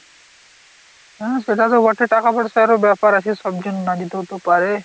হাঁ সেটা তো বটে, টাকা পয়সারো ব্যাপার আছে, সবজন না যেতেও তো পারে।